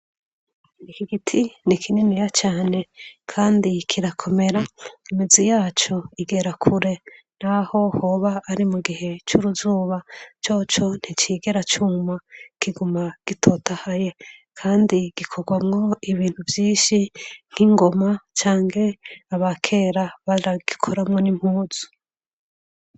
iki giti ni kininiya cyane kandi kirakomera imizi yacu igera kure n'aho hoba ari mu gihe cy'uruzuba cyoco nticigera cyuma kiguma gitotahaye kandi gikogwamwo ibintu byinshi nk'ingoma cange abakera baragikoranwo n'impuzu